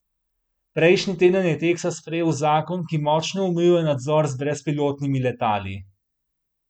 Prejšnji teden je Teksas sprejel zakon, ki močno omejuje nadzor z brezpilotnimi letali.